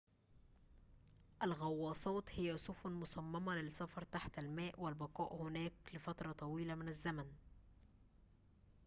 الغواصات هي سفن مصممة للسفر تحت الماء والبقاء هناك لفترة طويلة من الزمن